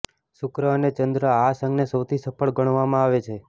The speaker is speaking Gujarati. શુક્ર અને ચંદ્ર આ સંઘને સૌથી સફળ ગણવામાં આવે છે